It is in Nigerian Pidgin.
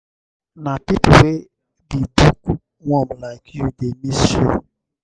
na pipo wey be book-worm like you dey miss show.